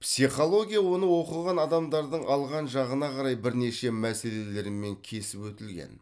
психология оны оқыған адамдардың алған жағына қарай бірнеше мәселелермен кесіп өтілген